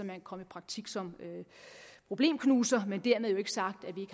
kan komme i praktik som problemknuser men dermed jo ikke sagt at vi